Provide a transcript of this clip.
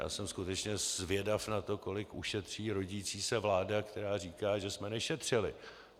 Já jsem skutečně zvědav na to, kolik ušetří rodící se vláda, která říká, že jsme nešetřili.